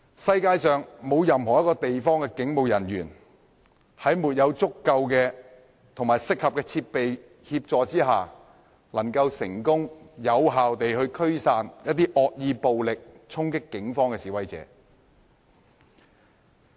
世界上沒有任何一個地方的警務人員能夠在沒有足夠及適合設備的協助下，成功及有效驅散惡意暴力衝擊警方的示威者。